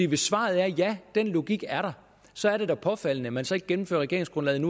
hvis svaret er at ja den logik er der så er det da påfaldende at man så ikke gennemfører regeringsgrundlaget